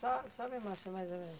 Só só me mostra mais ou menos.